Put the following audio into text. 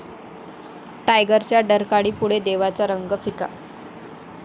टायगर'च्या डरकाळीपुढे 'देवा'चा रंग फिका!